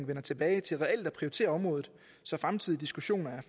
vender tilbage til reelt at prioritere området så fremtidige diskussioner